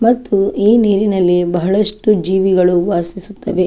ಮತ್ತು ಈ ನೀರಿನಲ್ಲಿ ಬಹಳಷ್ಟು ಜೀವಿಗಳು ವಾಸಿಸುತವೆ.